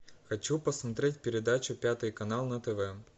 хочу посмотреть передачу пятый канал на тв